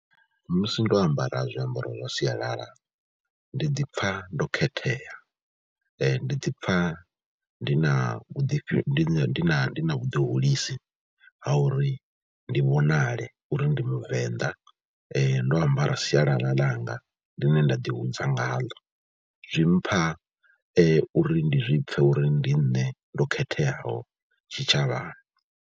Musi ndo ambara zwiambaro zwa sialala ndi ḓi pfha ndo khethea, ndi ḓi pfha ndi na vhuḓi na ndi na vhuḓihulisi ha uri ndi vhonale uri ndi muvenḓa, ndo ambara sialala ḽanga ḽine nda ḓihudza ngaḽo zwi mpha uri ndi zwi pfhe uri ndi nṋe ndo khetheaho tshitshavhani.